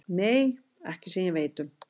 Nei, ekki sem ég veit um.